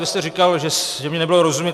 Vy jste říkal, že mi nebylo rozumět.